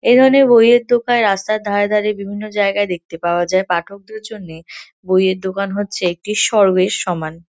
এ ধরনের বইয়ের দোকান রাস্তায় ধারে ধারে বিভিন্ন জায়গায় দেখতে পাওয়া যায়। পাঠকদের জন্য বইয়ের দোকান হচ্ছে একটি স্বর্গের সমান।